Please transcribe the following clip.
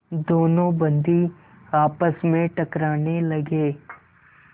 दोनों बंदी आपस में टकराने लगे